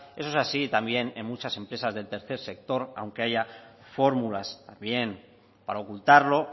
eso es así también en muchas empresas del tercer sector aunque haya fórmulas también para ocultarlo